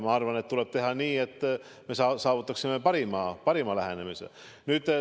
Ma arvan, et tuleb teha nii, et me saavutaksime parima lähenemise.